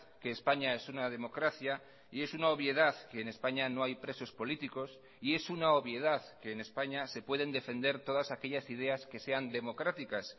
que españa es una democracia y es una obviedad que en españa no hay presos políticos y es una obviedad que en españa se pueden defender todas aquellas ideas que sean democráticas